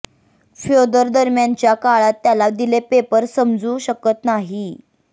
Fyodor दरम्यानच्या काळात त्याला दिले पेपर समजू शकत नाही